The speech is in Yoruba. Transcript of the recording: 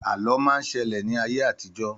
Àlọ́ má ń ṣẹlẹ̀ ní ayé àtijọ́